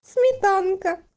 смитанка